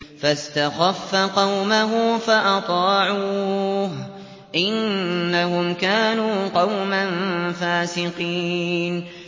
فَاسْتَخَفَّ قَوْمَهُ فَأَطَاعُوهُ ۚ إِنَّهُمْ كَانُوا قَوْمًا فَاسِقِينَ